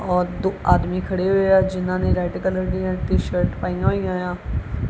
ਔਰ ਦੋ ਆਦਮੀ ਖੜੇ ਹੋਏ ਆ ਜਿਨਾਂ ਨੇ ਰੈਡ ਕਲਰ ਦੀਆਂ ਟੀ-ਸ਼ਰਟ ਪਾਈਆਂ ਹੋਈਆਂ ਆ।